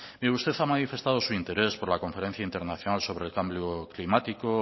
mire usted ha manifestado su interés por la conferencia internacional sobre cambio climático